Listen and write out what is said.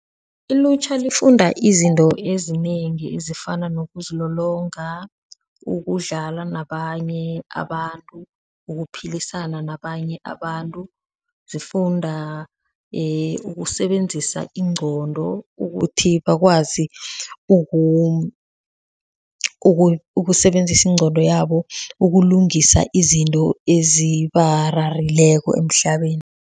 Ilutjha lifunda izinto ezinengi ezifana nokuzilolonga, ukudlala nabanye abantu, ukuphilisana nabanye abantu, sifunda ukusebenzisa ingqondo ukuthi bakwazi ukusebenzisa ingqondo yabo, ukulungisa izinto ezibararileko emhlabeni.